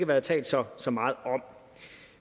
været talt så så meget om